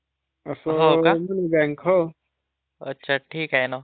अच्छा ठीक आहे ना. बघून घेऊ ना त्याच्याबद्दल काय माहिती आहे ना.